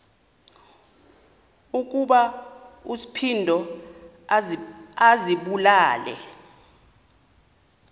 ukuba uspido azibulale